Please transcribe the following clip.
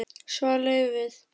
Svar: Laufið.